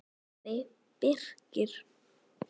sagði Birkir.